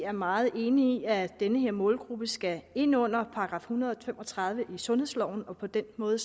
er meget enig i at den her målgruppe skal ind under § en hundrede og fem og tredive i sundhedsloven og på den måde